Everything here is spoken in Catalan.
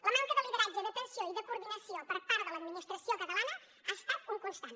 la manca de lideratge d’atenció i de coordinació per part de l’administració catalana ha estat un constant